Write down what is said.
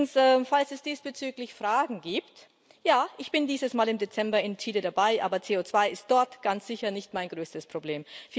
Übrigens, falls es diesbezüglich Fragen gibt Ja, ich bin dieses Mal im Dezember in Chile dabei, aber CO2 ist dort ganz sicher nicht mein größtes Problem.